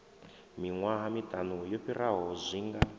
miṅwaha miṱanu yo fhiraho zwinga